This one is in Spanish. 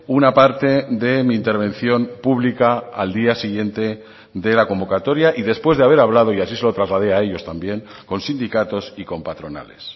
una parte de mi intervención pública al día siguiente de la convocatoria y después de haber hablado y así se lo trasladé a ellos también con sindicatos y con patronales